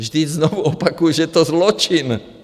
Vždyť znovu opakuji, že je to zločin!